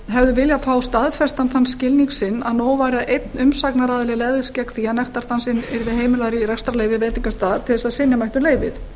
hefðu viljað fá staðfestan þann skilning sinn að nóg væri að einn umsagnaraðili legðist gegn því að nektardansinn yrði heimilaður í rekstrarleyfi veitingastaðar til þess að synja mætti um leyfið